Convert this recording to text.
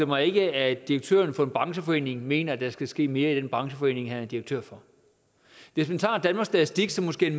mig ikke at direktøren for en brancheforening mener at der skal ske mere i den brancheforening han er direktør for hvis man tager danmarks statistik som måske er